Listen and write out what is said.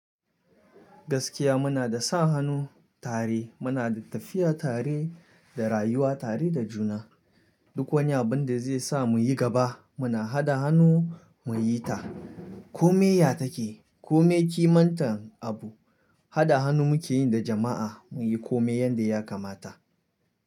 Gaskiya muna da sa hannu tare, muna da tafiya tare, da rayuwa tare da juna. Duk wani abin da zai sa mu yi gaba muna haɗa hannu mu yi ta. Kome ya take, kome kimar abun, haɗa hannu muke yi da jama’a mu yi kome yadda ya kamata.